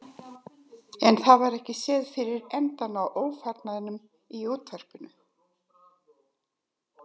En það var ekki séð fyrir endann á ófarnaðinum í varpinu.